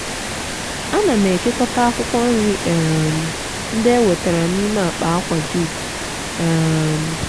ana m ekekọta akwụkwọ nri um ndị e wetara n'ime akpa akwa jute. um